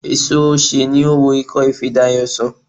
Èso osè ni ó wo ikófe Dayò sàn